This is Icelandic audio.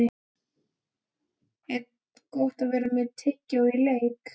Er Gott að vera með tyggjó í leik?